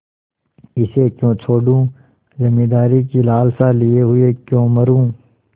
इसे क्यों छोडूँ जमींदारी की लालसा लिये हुए क्यों मरुँ